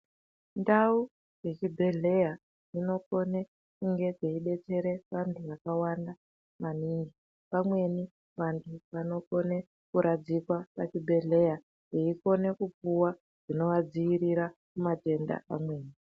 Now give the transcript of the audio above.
Ndau dze zvi bhedhleya dzino kone dzeyi detsere vantu vaka wanda maningi vamweni vantu vanokone ku radzikwa pa chibhedhleya veikone kupuwa zvinova dzivirira kuma tenda amweni.